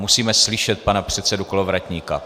Musíme slyšet pana předsedu Kolovratníka.